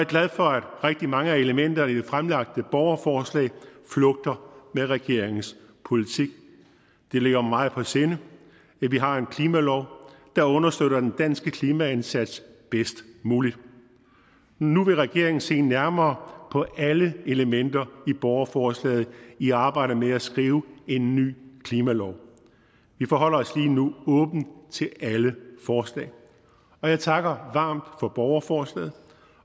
glad for at rigtig mange af elementerne i det fremlagte borgerforslag flugter med regeringens politik det ligger mig meget på sinde at vi har en klimalov der understøtter den danske klimaindsats bedst muligt men nu vil regeringen se nærmere på alle elementer i borgerforslaget i arbejdet med at skrive en ny klimalov vi forholder os lige nu åbent til alle forslag og jeg takker varmt for borgerforslaget